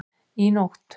Í nótt